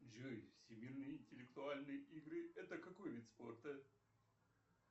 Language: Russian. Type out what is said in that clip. джой всемирные интеллектуальные игры это какой вид спорта